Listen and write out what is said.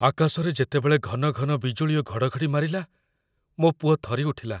ଆକାଶରେ ଯେତେବେଳେ ଘନଘନ ବିଜୁଳି ଓ ଘଡ଼ଘଡ଼ି ମାରିଲା, ମୋ ପୁଅ ଥରିଉଠିଲା।